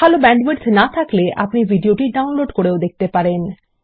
ভাল ব্যান্ডউইডথ না থাকলে আপনি ভিডিওটি ডাউনলোড করেও দেখতে পারেন